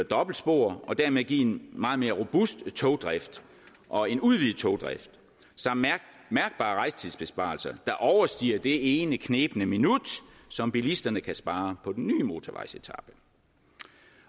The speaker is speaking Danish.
dobbeltspor og dermed give en meget mere robust togdrift og en udvidet togdrift samt mærkbare rejsetidsbesparelser der overstiger det ene knebne minut som bilisterne kan spare på den nye motorvejsetape